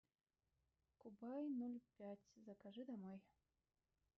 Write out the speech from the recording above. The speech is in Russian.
кубай ноль пять закажи домой